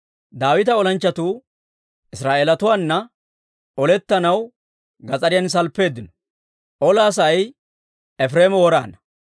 Daawita olanchchatuu Israa'eelatuwaana olettanaw gas'ariyan salppeeddino; olaa sa'ay Efireema woraana.